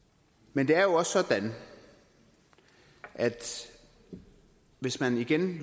men det er jo også sådan at hvis man